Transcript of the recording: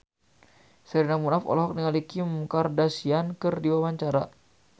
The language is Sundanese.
Sherina Munaf olohok ningali Kim Kardashian keur diwawancara